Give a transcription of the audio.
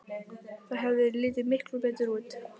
Það hefði litið miklu betur út.